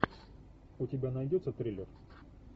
у тебя найдется триллер